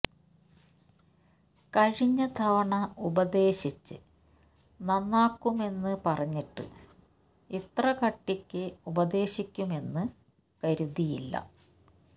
കഴിഞ്ഞ തവണ ഉപദേശിച്ച് നന്നാക്കുമെന്ന് പറഞ്ഞിട്ട് ഇത്ര കട്ടിയ്ക്ക് ഉപദേശിയ്ക്കുമെന്ന് കരുതിയില്ല